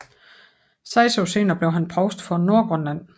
Seks år senere blev han provst for Nordgrønland